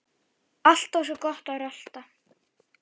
Alltaf svo gott að rölta.